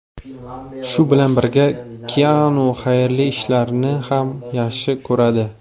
Shu bilan birga, Kianu xayrli ishlarni ham yaxshi ko‘radi.